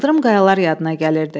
Sıldırım qayalar yadına gəlirdi.